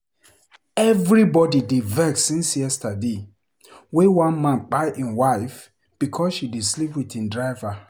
Everybody just dey vex since yesterday wey one man kpai im wife because sey she dey sleep with im driver.